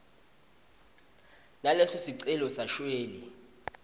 naleso sicelo sashwele